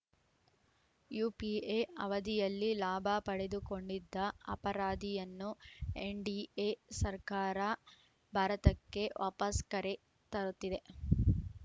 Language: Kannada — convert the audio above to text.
ಯುಪಿಎ ಅವಧಿಯಲ್ಲಿ ಲಾಭ ಪಡೆದುಕೊಂಡಿದ್ದ ಅಪರಾಧಿಯನ್ನು ಎನ್‌ಡಿಎ ಸರ್ಕಾರ ಭಾರತಕ್ಕೆ ವಾಪಸ್‌ ಕರೆ ತರುತ್ತಿದೆ